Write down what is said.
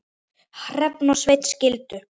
Hrefna og Sveinn skildu.